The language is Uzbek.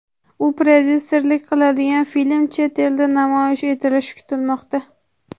U prodyuserlik qiladigan film chet elda namoyish etilishi kutilmoqda.